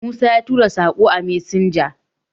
musa ya rubuta Sako a messenger